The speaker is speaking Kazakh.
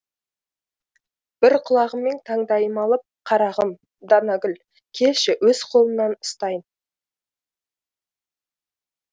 бір құлағы мен таңдайын алып қарағым данагүл келші өз қолымнан ұстайын